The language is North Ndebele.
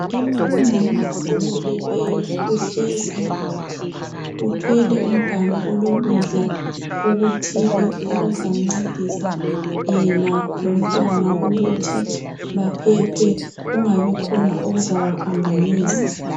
Umama okhulelweyo uhlezi uthwele umganu olokudla okuthile okuzamncedisa yena lomntwana ukuthi baphephe kungabikhona okuzabaphambanisa.